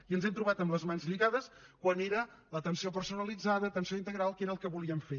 i ens hem trobat amb les mans lligades quan era l’atenció personalitzada l’atenció integral que era el que volíem fer